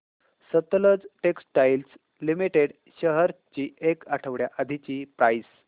Sutlej textiles limited shares ची एक आठवड्या आधीची प्राइस